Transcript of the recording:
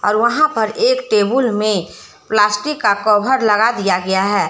और वहां पर एक टेबुल में प्लास्टिक का कभर लगा दिया गया है।